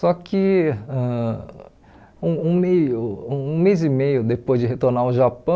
Só que ãh um um meio um mês e meio depois de retornar ao Japão,